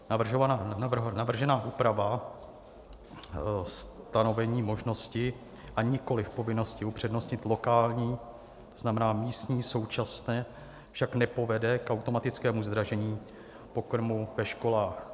Navržená úprava - stanovení možnosti a nikoliv povinnosti upřednostnit lokální, to znamená místní - současně však nepovede k automatickému zdražení pokrmů ve školách.